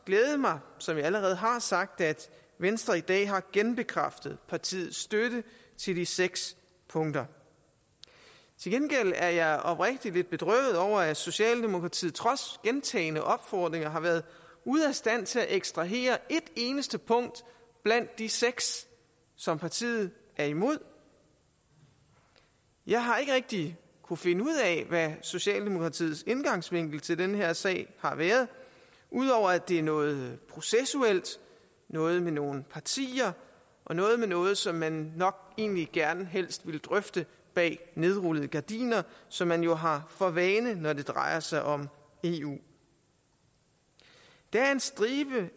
glædet mig som jeg allerede har sagt at venstre i dag har genbekræftet partiets støtte til de seks punkter til gengæld er jeg oprigtigt lidt bedrøvet over at socialdemokratiet trods gentagne opfordringer har været ude af stand til at ekstrahere et eneste punkt blandt de seks som partiet er imod jeg har ikke rigtig kunnet finde ud af hvad socialdemokratiets indgangsvinkel til den her sag har været ud over at det er noget processuelt noget med nogle partier og noget med noget som man nok egentlig helst ville drøfte bag nedrullede gardiner som man jo har for vane når det drejer sig om eu der er en stribe